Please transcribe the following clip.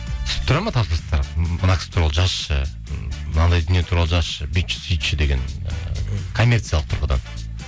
түсіп тұрады ма тапсырыстар мына кісі туралы жазшы м мынадай дүние туралы жазшы бүйтші сөйтші деген ы коммерциялық тұрғыдан